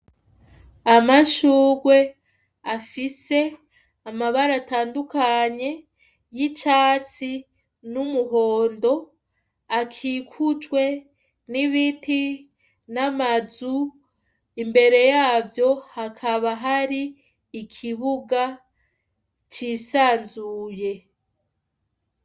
Amashurwe afise amabara atandukanye y'icatsi n'umuhondo akikujwe n'ibiti n'amazu, imbere yavyo hakaba hari ikibuga cisanzuye.